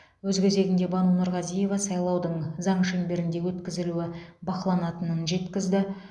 өз кезегінде бану нұрғазиева сайлаудың заң шеңберінде өткізілуі бақыланатынын жеткізді